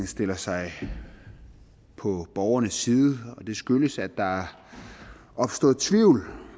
stiller sig på borgernes side og det skyldes at der er opstået tvivl